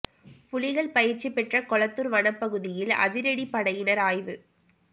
புலிகள் பயிற்சி பெற்ற கொளத்தூர் வனப் பகுதியில் அதிரடிப் படையினர் ஆய்வு